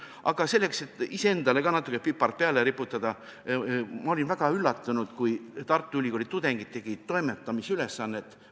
Aga selleks, et ka iseendale natuke pipart peale riputada, tuletan meelde, kuidas ma olin väga üllatunud, kui Tartu Ülikooli üliõpilased tegid toimetamisülesannet.